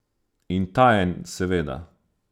In tajen seveda.